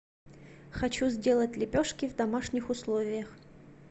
хочу сделать лепешки в домашних условиях